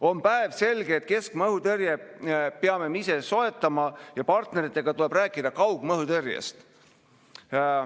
On päevselge, et keskmaa õhutõrje peame me ise soetama ja partneritega tuleb rääkida kaugmaa õhutõrjest.